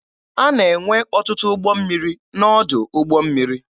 A na-enwe ọtụtụ ụgbọ mmiri n'ọdụ ụgbọ mmiri.